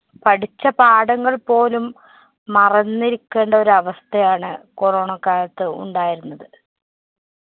പഠിച്ച പാഠങ്ങള്‍ പോലും മറന്നിരിക്കേണ്ട ഒരു അവസ്ഥയാണ് corona ക്കാലത്ത് ഉണ്ടായിരുന്നത്.